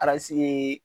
ye